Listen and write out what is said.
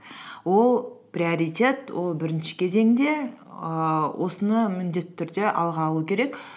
ол приоритет ол бірінші кезеңде ііі осыны міндетті түрде алға алу керек